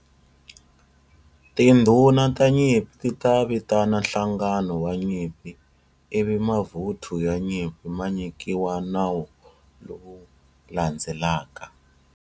Tindhuna ta nyimpi ti ta vitana nhlangano wa nyimpi ivi mavuthu ya nyimpi ma nyikiwa nawu lowu landzelaka.